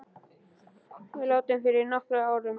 Faðir minn er látinn fyrir nokkrum árum.